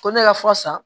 Ko ne ka fura san